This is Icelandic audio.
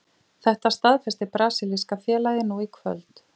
Þetta staðfesti brasilíska félagið nú í kvöld.